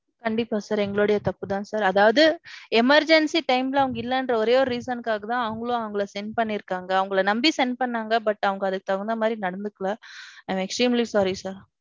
கண்டிப்பா sir. எங்களுடைய தப்பு தான் sir அதாவது. emergency time ல அவங்க இல்லங்கிற ஒரே ஓரு reason காக தான் அவங்களும் அவங்கள send பன்னிருக்காங்க. அவங்கள நம்பி send பன்னாங்க. But அவங்க அதுக்கு தகுந்தா மாதிரி நடத்துக்கல. I am extremely sorry sir.